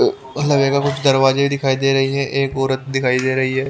उ लगेगा उस दरवाजे के दिखाई दे रही है एक ओरत दिखाई दे रही है।